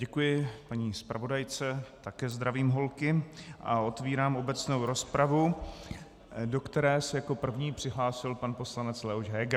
Děkuji paní zpravodajce, také zdravím holky a otevírám obecnou rozpravu, do které se jako první přihlásil pan poslanec Leoš Heger.